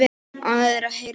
Ánægður að heyra þetta.